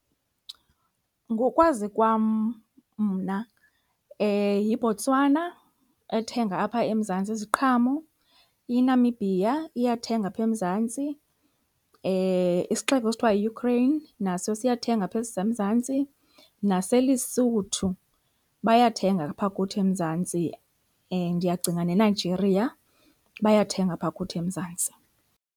Ngokwazi kwam mna yiBotswana ethenga apha eMzantsi iziqhamo, iNamibia iyathenga apha eMzantsi, isixeko esithiwa yiUkraine naso siyathenga apha eMzantsi naseLesotho bayathenga apha kuthi eMzantsi, and ndiyacinga neNigeria bayathenga apha kuthi eMzantsi.